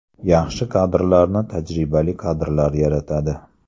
Yaxshi kadrlarni tajribali kadrlar yaratadi.